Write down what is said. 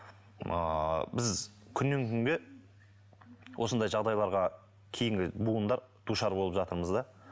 ыыы біз күннен күнге осындай жағдайларға кейінгі буындар душар болып жатырмыз да